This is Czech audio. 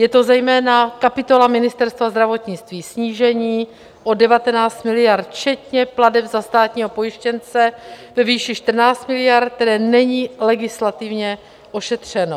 Je to zejména kapitola Ministerstva zdravotnictví - snížení o 19 miliard, včetně plateb za státního pojištěnce ve výši 14 miliard, které není legislativně ošetřeno.